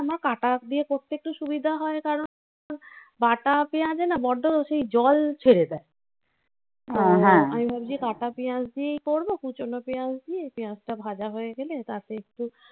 আমার কাটা দিয়ে করতে একটু সুবিধা হয় কারণ বাটা পেঁয়াজে না বড্ড সেই জল ছেড়ে দেয়. আ হ্যাঁ আমি ভাবছি কাটা পেঁয়াজ দিয়েই করবো কুচোনো পেঁয়াজ দিয়ে এই পেঁয়াজটা ভাজা হয়ে গেলে তারপরে একটু